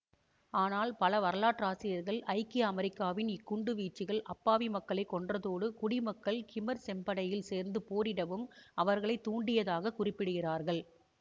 ஆனால் பல வரலாற்றாசிரியர்கள் ஐக்கிய அமெரிக்காவின் இக்குண்டு வீச்சுகள் அப்பாவி மக்களை கொன்றதோடு குடிமக்கள் கிமர் செம்படையில் சேர்ந்து போரிடவும் அவர்களை தூண்டியதாக குறிப்பிடுகிறார்கள்